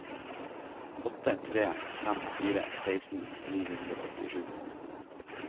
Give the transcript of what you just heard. åtte tre fem fire seksten ni hundre og åttisju